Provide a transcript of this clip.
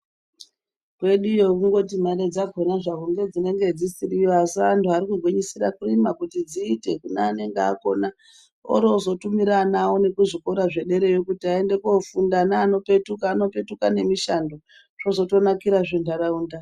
Kweduyo kundoti mare dzakona hadzo ndidzo dzinenge dzisiriko asi antu anondogwinyisira kurima kuti dziite kune anonga akona orozotumira ana awo nekuzvikora zvederayo kuti aende kofunda .Ana anopetuka anopetuka nemushando zvozotonakirazve ndaraunda.